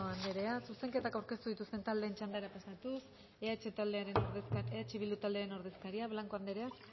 asko eskerrik asko garrido andrea zuzenketak aurkeztu dituzten taldeen txandara pasatuz eh bildu taldearen ordezkaria blanco andrea